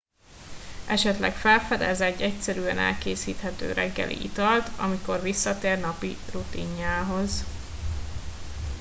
esetleg felfedez egy egyszerűen elkészíthető reggeli italt amikor visszatér napi rutinjához